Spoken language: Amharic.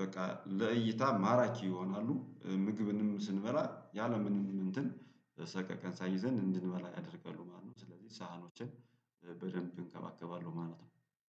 በቃ ለእይታ ማራኪ ይሆናሉ ምግብንም ስንበላ ያለምንም እንትን ሰቀቀን ሳይዘን እንድንበላ ያደርጋሉ ማለት ነው። ስለዚህ ሳህኖችን በደንብ እንከባከባለሁ ማለት ነው